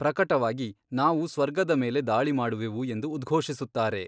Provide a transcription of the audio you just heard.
ಪ್ರಕಟವಾಗಿ ನಾವು ಸ್ವರ್ಗದ ಮೇಲೆ ದಾಳಿ ಮಾಡುವೆವು ಎಂದು ಉದ್ಘೋಷಿಸುತ್ತಾರೆ.